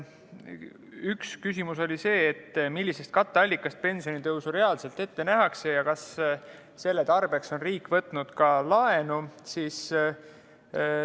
Üks küsimus oli see: millisest katteallikast pensionitõusu reaalselt ette nähakse ja kas selle tarbeks on riik võtnud ka laenu?